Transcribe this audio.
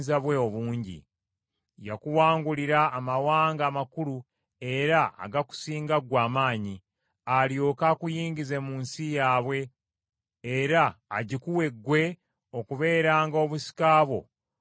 Yakuwangulira amawanga amakulu era agakusinga ggwe amaanyi, alyoke akuyingize mu nsi yaabwe, era agikuwe ggwe okubeeranga obusika bwo nga bwe kiri leero.